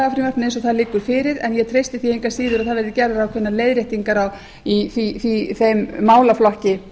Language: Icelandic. eins og það liggur fyrir en ég treysti því engu að síður að það verði gerðar ákveðnar leiðréttingar í þeim málaflokki